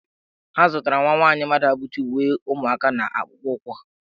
Ha zụtara nwa nwaanyị Mmaduabuchi uwe ụmụaka na akpụkpọụkwụ.